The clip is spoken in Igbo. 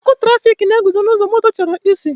Ọkụ tụrafikatọ na-egosi ụzọ moto chọrọ isi.